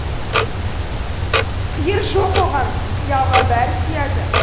қиыр жоқ оған қиялға бәрі сияды